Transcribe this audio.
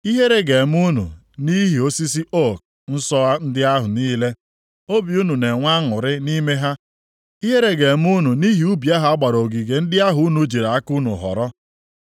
“Ihere ga-eme unu nʼihi osisi ook nsọ ndị ahụ niile obi unu na-enwe aṅụrị nʼime ha. Ihere ga-eme unu nʼihi ubi a gbara ogige ndị ahụ unu jiri aka unu họrọ.